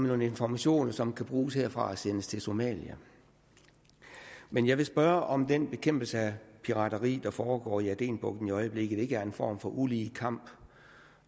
nogle informationer som kan bruges herfra og sendes til somalia men jeg vil spørge om den bekæmpelse af pirateri der foregår i adenbugten i øjeblikket ikke er en form for ulige kamp